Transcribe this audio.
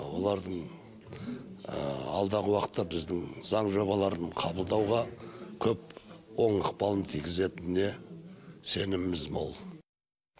олардың алдағы уақытта біздің заң жобаларын қабылдауға көп оң ықпалын тигізетініне сеніміміз мол